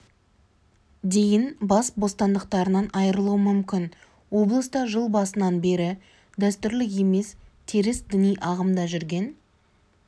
дейін бас бостандықтарынан айырылуы мүмкін облыста жыл басынан бері дәстүрлі емес теріс діни ағымда жүрген